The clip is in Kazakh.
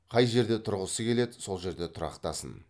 қай жерде тұрғысы келеді сол жерде тұрақтасын